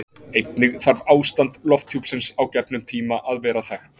einnig þarf ástand lofthjúpsins á gefnum tíma að vera þekkt